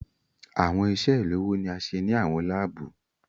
Awọn iṣe ilowo ni a ṣe ni awọn laabu